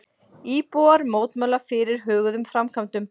Íbúar mótmæla fyrirhuguðum framkvæmdum